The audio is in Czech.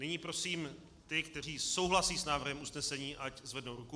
Nyní prosím ty, kteří souhlasí s návrhem usnesení, ať zvednou ruku.